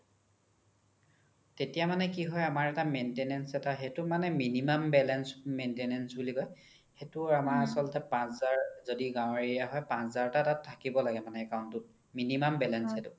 তেতিয়া মানে কি হয় আমাৰ এটা maintenance এটা সেইটো মানে minimum balance maintenance বুলি কই সেইতো আমাৰ আচলতে পাচ হাজাৰ যদি গাও area হয় পাচ হাজাৰ তকা তাত থাকিব লাগে account তোত minimum balance সেইটো